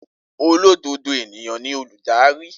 Olododo eniyan ni oludari.